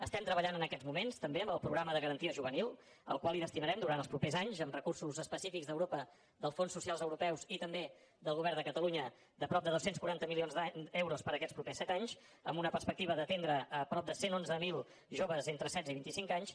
estem treballant en aquests moments també amb el programa de garantia juvenil al qual hi destinarem durant els propers anys amb recursos específics d’europa dels fons socials europeus i també del govern de catalunya de prop de dos cents i quaranta milions d’euros per a aquests propers set anys amb una perspectiva d’atendre prop de cent i onze mil joves entre setze i vint i cinc anys